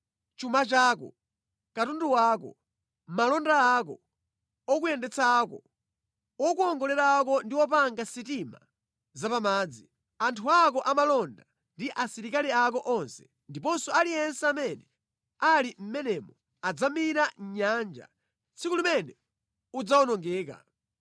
Chuma chako, katundu wako, malonda ako, okuyendetsa ako, okuwongolera ako ndi opanga sitima za pa madzi, anthu ako amalonda ndi asilikali ako onse ndiponso aliyense amene ali mʼmenemo adzamira mʼnyanja tsiku limene udzawonongeka.